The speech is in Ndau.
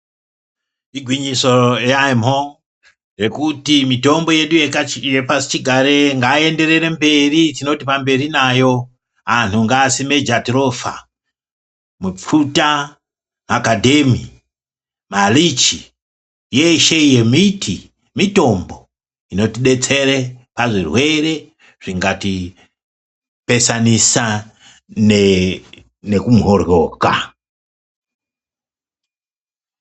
Igwinyiso yamho nekuti mitombo yedu yepasi chigare ngai enderere mberi tinoto pamberi nayo anhu ngaasime jatirofa mupfuta makadhemi malichi yeshe iyo miti mitombo inoti detsere pa zvirwere zvingati pesanisa neku mboryoka.